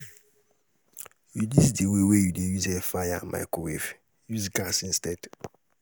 reduce di way wey yu dey use airfryer and microwave, use gas instead